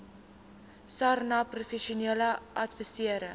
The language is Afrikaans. sarnap professionele adviserende